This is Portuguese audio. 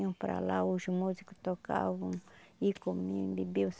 Iam para lá, os músicos tocavam e comiam e bebiam.